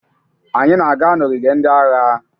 Anyị na-aga n'ogige ndị agha.